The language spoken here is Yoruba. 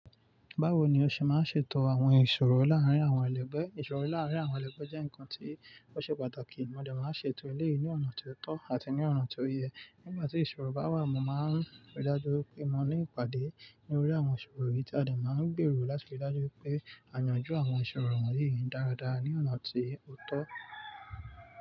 Báwo ni o ṣe máa ń ṣètò àwọn ìṣòro láàrín àwọn elegbé? Ìṣòro láàárín àwọn elègbé jẹ́ nǹkan tí ó ṣe pàtàkì. Mo dẹ̀ máa ń ṣètò eleyì ní ọ̀nà tó tọ́ àti ní ọ̀nà tó yẹ. Nígbà tí ìṣòro bá wà, mo máa ń rí i dájú pé mo ní ìpàdé ní orí àwọn ìṣòro yìí tí a dẹ̀ máa ń gbèrò láti rí i dájú pé à yànjú àwọn ìṣòro wọ̀nyí dáradára ní ọ̀nà tó tọ́.